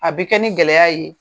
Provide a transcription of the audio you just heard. A bi kɛ ni gɛlɛya ye.